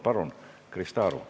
Palun, Krista Aru!